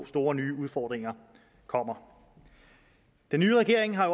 store nye udfordringer kommer den nye regering har